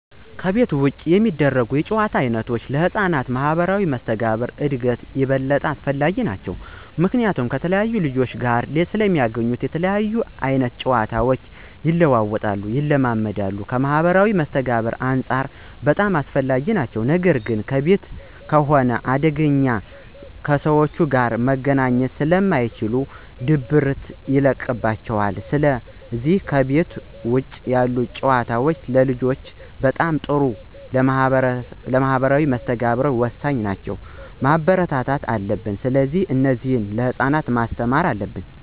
ከቤት ውጭ የሚደረጉ የጨዋታ ዓይነቶች ለሕፃናት ማኅበራዊ መስተጋብር እድገት ይበልጥ አስፈላጊ ናቸዉ። ምክንያቱም ከተለያየ ልጆች ጋር ስለሚገናኙ የተለያየ አይነት ጨዋታቸው ይለዋወጣሉ፣ ይለማመዳሉ ከማህበራዊ መስተጋብርም አንፃር በጣም አስፈላጊ ናቸው ነገር ግን ከቤት ከሆነ አንደኛ ከሰዎች ጋር መገናኘት ስለማይችሉ ድብርት ይለቅባቸዋል ስለዚህ ከቤት ውጭ ያሉ ጨዋታዎች ለልጆች በጣም ጥሩና ለማህበራዊ መስተጋብር ወሳኝ ናቸው፣ መበረታታት አለብን። ስለዚህ እነዚህን ለህፃናት ማስተማር አለብን።